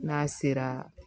N'a sera